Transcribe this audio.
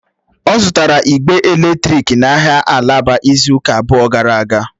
Ọ zụtara ịgbe eletrik n'ahịa alaba izu ụka abụọ gara aga.